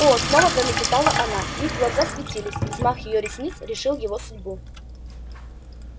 о снова пролепетала она их глаза светились и взмах её ресниц решил его судьбу